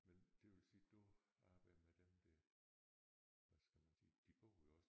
Men det vil sige du arbejdede med dem der hvad skal man sige de bor jo også